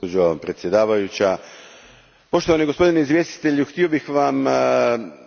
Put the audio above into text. Gospođo predsjednice, poštovani gospodine izvjestitelju, htio bih vam